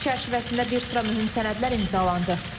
Sərgi çərçivəsində bir sıra mühüm sənədlər imzalandı.